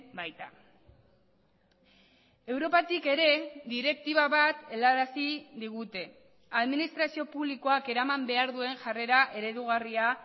baita europatik ere direktiba bat helarazi digute administrazio publikoak eraman behar duen jarrera eredugarria